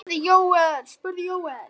spurði Jóel.